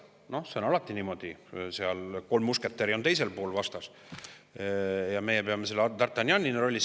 Noh, see on alati niimoodi: kolm musketäri on teisel pool vastas ja meie peame d'Artagnani rollis olema selles võitluses.